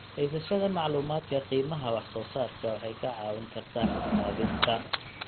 Haysashada macluumaadka qiimaha wax-soo-saarka waxay kaa caawin kartaa xisaabinta.